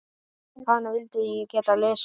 Hana vildi ég geta lesið.